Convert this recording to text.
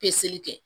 Peseli kɛ